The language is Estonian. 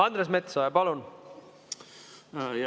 Andres Metsoja, palun!